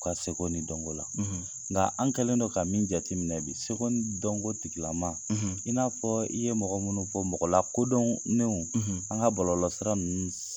U ka seko ni dɔnko la. nka an kɛlen don ka min jati minɛ bi seko n dɔnko tigilamaa, i n'a fɔɔ i ye mɔgɔ munnu fɔ mɔgɔ lakodɔɔnnenw an ŋa bɔlɔsira ninnu s